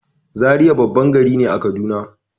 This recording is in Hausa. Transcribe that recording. Zaria babban gari ne a kaduna